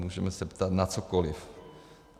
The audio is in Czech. Můžeme se ptát na cokoli.